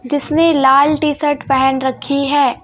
जिसने लाल टी-शर्ट पहन रखी है.